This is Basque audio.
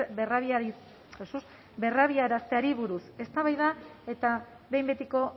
berrabiarazteari buruz eztabaida eta behin betiko